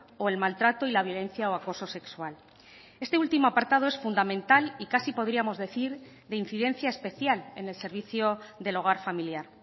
o el maltrato y la violencia o acoso sexual este último apartado es fundamental y casi podríamos decir de incidencia especial en el servicio del hogar familiar